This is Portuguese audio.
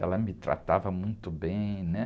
Ela me tratava muito bem, né?